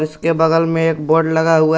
इसके बगल में एक बोर्ड लगा हुआ--